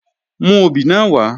Mú obì náà wá!